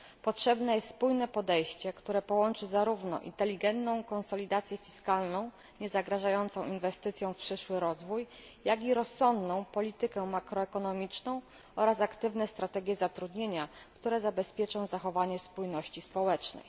Potrzebne jest spójne podejście, które połączy zarówno inteligentną konsolidację fiskalną, niezagrażającą inwestycjom w przyszły rozwój, jak i rozsądną politykę makroekonomiczną oraz aktywne strategie zatrudnienia, które zabezpieczą zachowanie spójności społecznej.